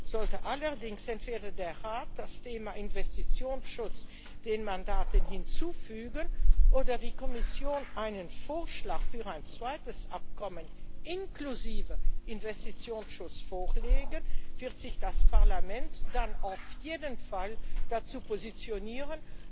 Sollte allerdings entweder der Rat das Thema Investitionsschutz den Mandaten hinzufügen oder die Kommission einen Vorschlag für ein zweites Abkommen, inklusive Investitionsschutz, vorlegen, wird sich das Parlament dann auf jeden Fall dazu positionieren.